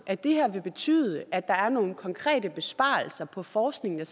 at det her vil betyde at der er nogle konkrete besparelser på forskningen der